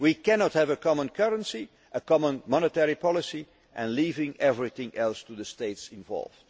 We cannot have a common currency and a common monetary policy and leave everything else to the states